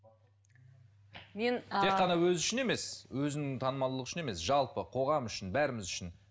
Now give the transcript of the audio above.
тек қана өзі үшін емес өзінің танымалдылығы үшін емес жалпы қоғам үшін бәріміз үшін